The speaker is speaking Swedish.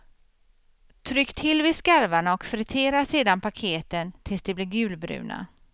Tryck till vid skarvarna och fritera sedan paketen tills de blir gulbruna.